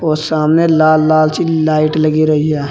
और सामने लाल लाल सी लाइट लगी रही है।